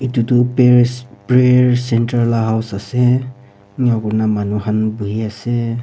etu tu payers prayer centre lah house ase ena koina manu khan bohi ase.